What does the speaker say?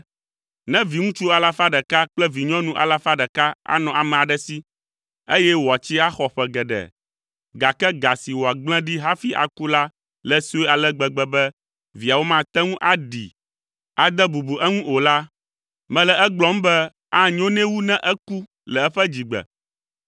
Ne viŋutsu alafa ɖeka kple vinyɔnu alafa ɖeka anɔ ame aɖe si, eye wòatsi axɔ ƒe geɖe, gake ga si wòagblẽ ɖi hafi aku la le sue ale gbegbe be viawo mate ŋu aɖii, ade bubu eŋu o la, mele egblɔm be anyo nɛ wu ne eku le eƒe dzigbe,